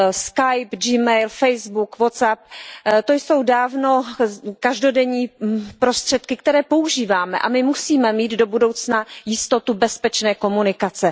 Skype, G mail, Facebook, Whatsapp, to jsou dávno každodenní prostředky, které používáme, a my musíme mít do budoucna jistotu bezpečné komunikace.